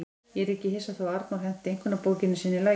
Ég er ekki hissa þó að Arnór henti einkunnabókinni sinni í lækinn.